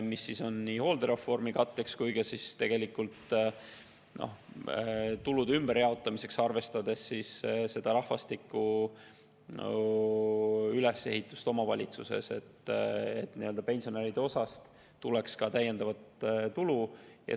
See on nii hooldereformi katteks kui ka tegelikult tulude ümberjaotamiseks, arvestades rahvastiku ülesehitust omavalitsuses, et nii-öelda pensionäride osast tuleks lisatulu.